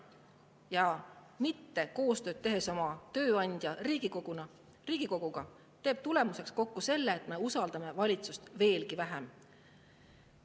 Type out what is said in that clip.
See, et te ei tee koostööd oma tööandja Riigikoguga, selle, et me usaldame valitsust veelgi vähem.